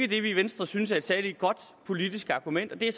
i venstre synes er et særlig godt politisk argument men det